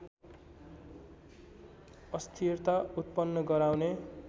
अस्थिरता उत्पन्न गराउने